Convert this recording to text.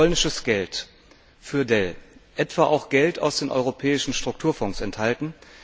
Euro polnisches Geld für Dell auch Geld aus den europäischen Strukturfonds enthalten?